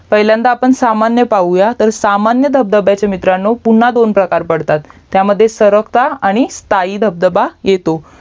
पहिल्यांदा आपण सामान्य पाहूया तर सामान्य धबधब्याचे मित्रांनो पुन्हा दोन प्रकार पडतात त्यामध्ये सरकता आणि स्थायी धबधबा येतो